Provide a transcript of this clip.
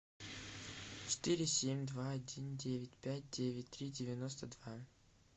четыре семь два один девять пять девять три девяносто два